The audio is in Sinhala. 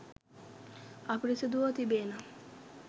අපිරිසුදුව තිබේ නම්,